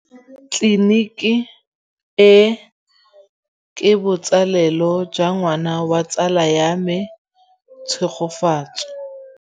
Tleliniki e, ke botsalêlô jwa ngwana wa tsala ya me Tshegofatso.